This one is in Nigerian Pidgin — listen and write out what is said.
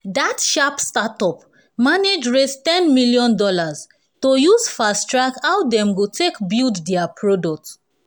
dat sharp startup manage raise ten dollars million to use fast track how dem go take build dia product